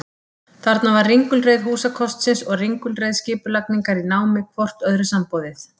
Þarna var ringulreið húsakostsins og ringulreið skipulagningar í námi hvort öðru samboðið.